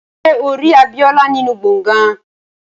Ṣé o rí Abíọ́lá nínú gbọ̀ngán?